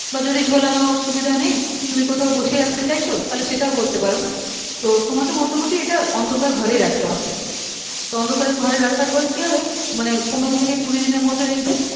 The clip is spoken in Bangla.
বা যদি ঝোলানোর সুবিধা নেই তুমি কোথাও বসিয়ে রাখতে চাইছো তাহলে তুমি সেইটাও করতে পারো তো তোমাকে মধ্যে মধ্যে এইটা অন্ধকার ঘরেই রাখতে হবে তো অন্ধকার ঘরে রাখার পর কি হবে মানে পনেরো থেকে কুড়ি দিনের মধ্যে দেখবে